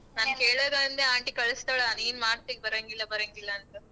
ನಾನ್ ಕೇಳರು ಅಂದ್ರೆ aunty ಕಳಸ್ತಳ ನೀನ್ ಮಾಡ್ತಿ ಬರಂಗಿಲ್ಲ ಬರಂಗಿಲ್ಲ ಅಂತ.